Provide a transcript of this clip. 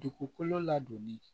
Dugukolo ladonni